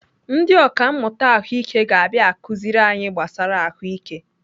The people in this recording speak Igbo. Ndị ọkàmmụta Ahụike ga-abịa akụziri anyị gbasara ahụike.